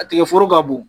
A tigɛ foro ka bon